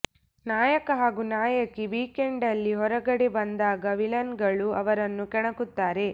ನಾಯಕ ಹಾಗೂ ನಾಯಕಿ ವೀಕ್ಎಂಡ್ನಲ್ಲಿ ಹೊರಗಡೆ ಬಂದಾಗ ವಿಲನ್ಗಳು ಅವರನ್ನು ಕೆಣಕುತ್ತಾರೆ